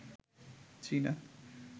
চীনা